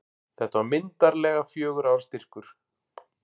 Þetta var myndarlegur fjögurra ára styrkur.